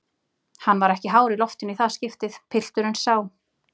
Hann var ekki hár í loftinu í það skiptið, pilturinn sá.